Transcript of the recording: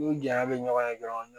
N'u janya bɛ ɲɔgɔn ye dɔrɔn